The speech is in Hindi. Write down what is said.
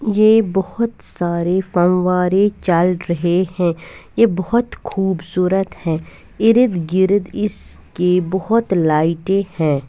ये बहुत सारे फम्वारे चल रहे है ये बहुत खुबसूरत है इर्द गिर्द इसके बहुत लाइटे है।